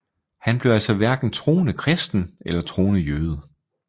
Han blev altså hverken troende kristen eller troende jøde